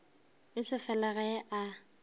e se fela ge a